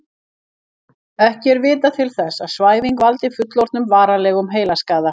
Ekki er vitað til þess að svæfing valdi fullorðnum varanlegum heilaskaða.